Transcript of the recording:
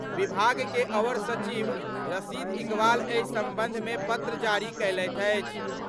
विभाग के अवर सचिव रशीद इकबाल एहि संबंध मे पत्र जारी कयलथि अछि।